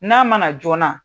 N'a mana joona